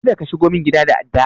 Kada ka shigo min gida da adda!